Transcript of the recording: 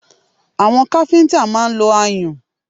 Àwọn káfíńtà máa ń lo ayùn